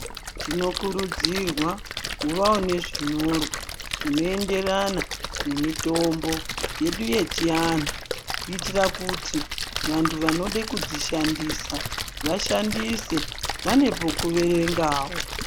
Tinokurudzirwa kuvawo nezvinyorwa zvinoenderana nemitombo yedu yechianhu kuitira kuti vantu vanode kudzishandisa vashandise vane pekuverengawo .